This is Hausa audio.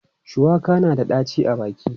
Shuwaka na da ɗaci a baki.